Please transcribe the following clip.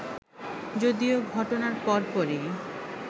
যদিও ঘটনার পরপরই